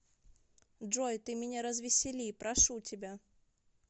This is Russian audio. джой ты меня развесели прошу тебя